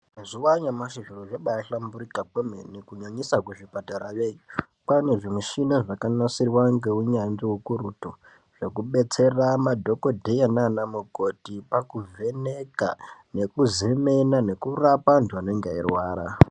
Mazuva anyamashi zviro zvabahlamburuka kwemene kunyanyisa kuzvipatarayo kwane zvimushina zvakanasirwa ngeunyatsvi ukurutu zvekubetsera madhokodheya nanamukoti pakuvheneka nekuzemena nekurapa antu anenge eirwara.